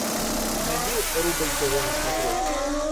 найди рубль тв на смотрешке